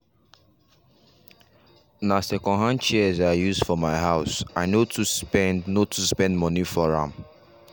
nah second hand chairs i use for my house i no to spend no to spend money for am